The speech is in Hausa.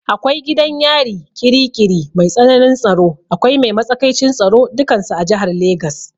Akwai gidan yari ƙiri ƙiri mai tsanin tsaro, akwai mai matsakaicin tsaro dukansu a jihar Legas.